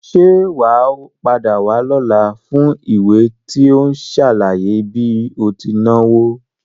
Sé wàá padà wá lọ́la fún ìwé tí ó n sàlàyé bí o ti náwo?